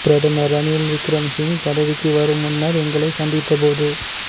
பிரதமா் ரணில் விக்கி ரமசிங்க பதவிக்கு வரும் முன்னா் எங்களை சந்தித்தபோது